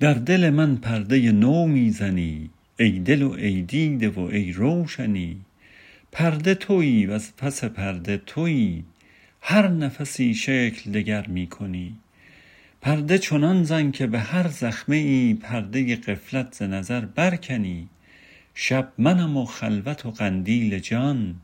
در دل من پرده نو می زنی ای دل و ای دیده و ای روشنی پرده توی وز پس پرده توی هر نفسی شکل دگر می کنی پرده چنان زن که بهر زخمه پرده غفلت ز نظر برکنی شب منم و خلوت و قندیل جان